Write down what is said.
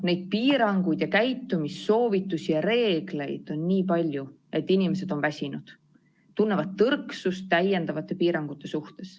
Neid piiranguid ja käitumissoovitusi ja reegleid on nii palju, et inimesed on väsinud, tunnevad tõrksust täiendavate piirangute suhtes.